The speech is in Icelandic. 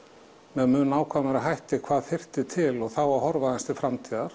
með mun nákvæmari hætti hvað þyrfti til og þá horfa aðeins til framtíðar